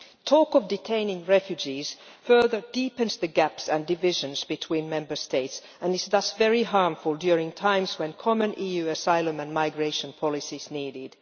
Talk of detaining refugees further deepens the gaps and divisions between Member States and is thus very harmful at times when common EU asylum and migration policies are needed.